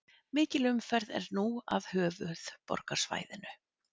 Mikil umferð er nú að höfuðborgarsvæðinu